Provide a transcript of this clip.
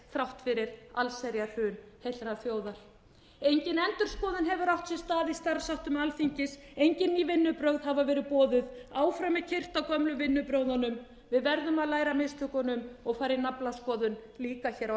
þrátt fyrir allsherjarhrun heillar þjóðar engin endurskoðun hefur átt sér stað í starfsháttum alþingis engin ný vinnubrögð hafa verið boðuð áfram er keyrt á gömlu vinnubrögðunum við verðum að læra af mistökunum og fara í naflaskoðun líka hér á